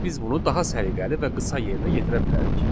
Ancaq biz bunu daha səliqəli və qısa yerinə yetirə bilərik.